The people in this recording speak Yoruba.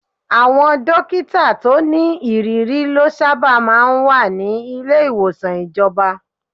Àwọn dókítà tó ní ìrírí lọ sábà máa ń wà ní ilé ìwòsàn ìjọba.